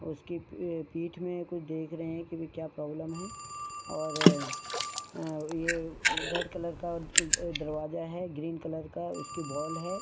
और इसकी पीठ में कोई देख रहें हैं कि कोई प्रॉब्लम है और यह रेड कलर का दरवाजा है ग्रीन कलर का इसकी वॉल है।